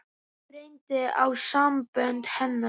Nú reyndi á sambönd hennar.